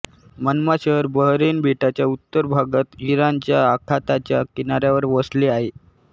मनमा शहर बहरैन बेटाच्या उत्तर भागात इराणच्या आखाताच्या किनाऱ्यावर वसले आहे